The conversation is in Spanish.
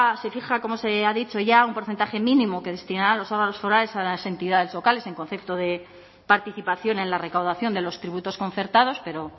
se fija como se ha dicho ya un porcentaje mínimo que destinará a los órganos forales a las entidades locales en concepto de participación en la recaudación de los tributos concertados pero